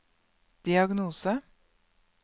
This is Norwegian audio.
diagnose